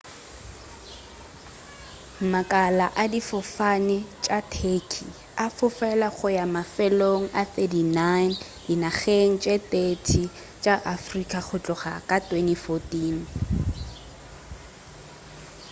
makala a difofane tša turkey a fofela go ya mafelong a 39 dinageng tše 30 tša afrika go tloga ka 2014